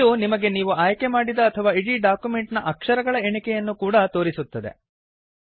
ಇದು ನಿಮಗೆ ನೀವು ಆಯ್ಕೆ ಮಾಡಿದ ಅಥವಾ ಇಡೀ ಡಾಕ್ಯುಮೆಂಟ್ ನ ಅಕ್ಷರಗಳ ಎಣಿಕೆಯನ್ನೂ ಕೂಡಾ ತೋರಿಸುತ್ತದೆ